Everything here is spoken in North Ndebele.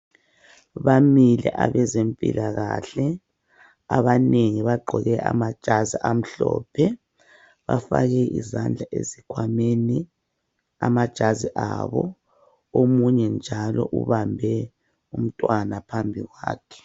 Bamile abezempilakahle abanengi bagqoke amajazi amhlophe bafake izandla ezikhwameni amajazi abo omunye njalo ubambe umntwana phambi kwakhe.